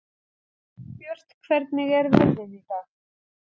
Elínbjört, hvernig er veðrið í dag?